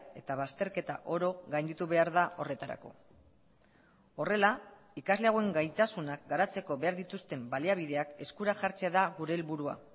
eta bazterketa oro gainditu behar da horretarako horrela ikasle hauen gaitasunak garatzeko behar dituzten baliabideak eskura jartzea da gure helburua